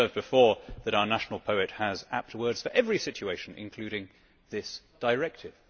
I have observed before that our national poet has apt words for every situation, including this directive.